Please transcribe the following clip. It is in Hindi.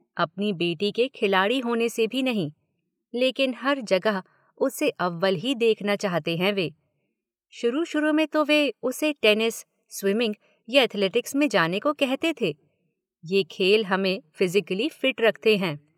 अपनी बेटी के खिलाड़ी होने से भी नहीं – लेकिन हर जगह उसे अव्वल ही देखना चाहते हैं वे – शुरू-शुरू में तो वे उसे टेनिस, स्विमिंग या एथलेटिक्स में जाने को कहते थे।